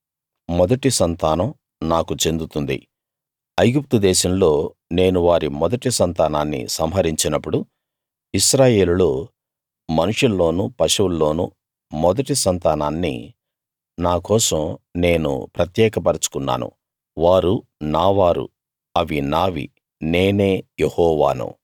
మొదటి సంతానం నాకు చెందుతుంది ఐగుప్తు దేశంలో నేను వారి మొదటి సంతానాన్ని సంహరించినప్పుడు ఇశ్రాయేలులో మనుషుల్లోనూ పశువుల్లోనూ మొదటి సంతానాన్ని నా కోసం నేను ప్రత్యేక పరచుకున్నాను వారు నా వారు అవి నావి నేనే యెహోవాను